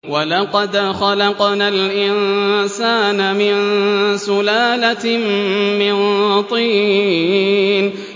وَلَقَدْ خَلَقْنَا الْإِنسَانَ مِن سُلَالَةٍ مِّن طِينٍ